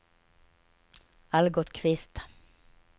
Algot Kvist